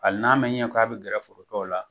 Hali n'a ma ɲɛ k'a bɛ gɛrɛ forotɔw la